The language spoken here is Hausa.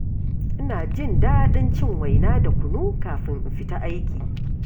Ina jin daɗin cin waina da kunu kafin in fita aiki.